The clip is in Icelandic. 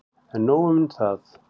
En nóg un það.